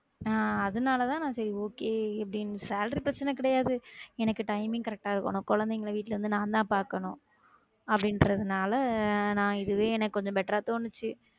அஹ் அதனால தான் நான் செரி அப்படி salary பிரச்சன கிடையாது எனக்கு timing correct ஆ இருக்கணும் குழந்தைங்க வீட்ல இருந்து நான் தா பாக்கணும் அப்படின்றதுனால நான் இதுவே எனக்கு கொஞ்சம் better ஆ தோணுச்சு